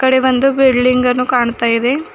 ಇಲ್ಲಿ ಒಂದು ಬಿಲ್ಡಿಂಗ್ ಅನ್ನು ಕಾಣ್ತಾ ಇದೆ.